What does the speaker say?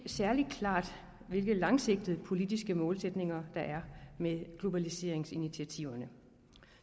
særlig klart hvilke langsigtede politiske målsætninger der er med globaliseringsinitiativerne